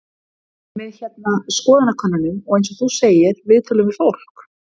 Með hérna, skoðanakönnunum og eins og þú segir, viðtölum við fólk?